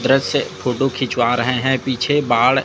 से फोटो खिचवा रहे हैं पीछे बाढ़--